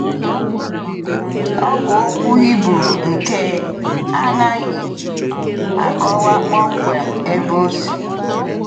Ọ bụ okwu Hibru nke anaghị akọwa kpọmkwem ebe ọ si.